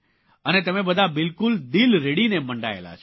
અને તમે બધા બિલકુલ દિલ રેડીને મંડાયેલા છો